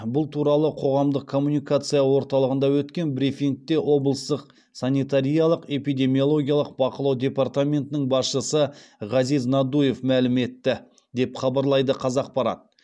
бұл туралы қоғамдық коммуникация орталығында өткен брифингте облыстық санитариялық эпидемиологиялық бақылау департаментінің басшысы ғазиз надуев мәлім етті деп хабарлайды қазақпарат